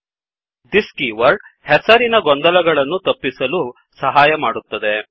thisದಿಸ್ keyword ಹೆಸರಿನ ಗೊಂದಲಗಳನ್ನು ತಪ್ಪಿಸಲು ಸಹಾಯಮಾಡುತ್ತದೆ